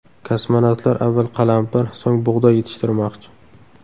Kosmonavtlar avval qalampir, so‘ng bug‘doy yetishtirmoqchi.